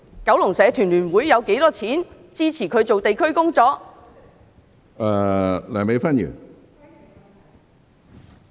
九龍社團聯會有多少資金支持她進行地區工作？